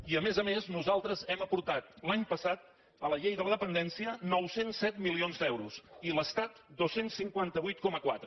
i a més a més nosaltres hem aportat l’any passat a la llei de la dependència nou cents i set milions d’euros i l’estat dos cents i cinquanta vuit coma quatre